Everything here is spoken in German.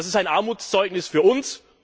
Das ist ein Armutszeugnis für uns.